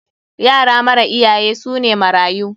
Yara mara iyaye su ne marayu.